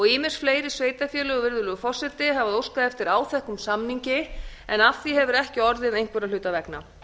ýmis fleiri sveitarfélög virðulegur forseti hafa óskað eftir áþekkum samningi en af því hefur ekki orðið einhverra hluta vegna